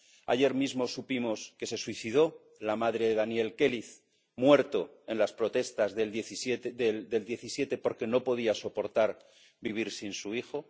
Ayer mismo supimos que se suicidó la madre de Daniel Queliz, muerto en las protestas del 17, porque no podía soportar vivir sin su hijo.